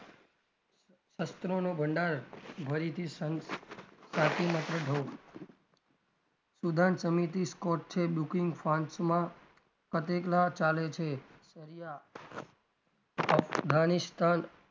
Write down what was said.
અસ્ત્રોનો ભંડાર ભરીથી સુદાન સમિતિ scot છે માં ચાલે છે સરિયા અફગાનિસ્તાન,